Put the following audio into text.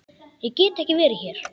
Ég get ekki verið hér.